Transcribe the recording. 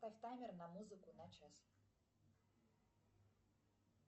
поставь таймер на музыку на час